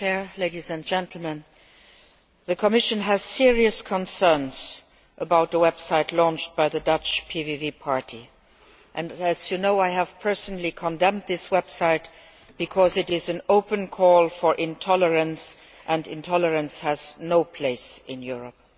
Madam President, the Commission has serious concerns about the website launched by the Dutch PVV Party and, as you know, I have personally condemned this website because it is an open call for intolerance and intolerance has no place in Europe.